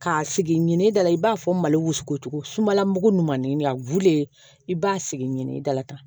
K'a sigi ɲini dala i b'a fɔ mali wusuko cogo sumala mugu ɲumanin a guwere i b'a sigi ɲini dalakan